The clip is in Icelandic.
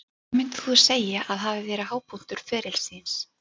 Hvað myndir þú segja að hafi verið hápunktur ferils þíns?